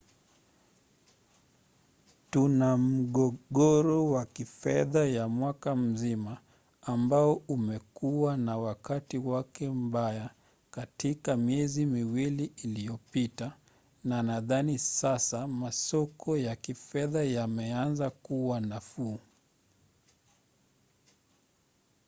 tuna mgogoro wa kifedha ya mwaka mzima ambao umekuwa na wakati wake mbaya katika miezi miwili iliyopita na nadhani sasa masoko ya kifedha yameanza kuwa nafuu.